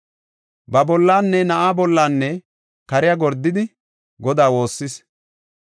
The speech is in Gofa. Ba bollanne na7aa bollanne kariya gordidi, Godaa woossis.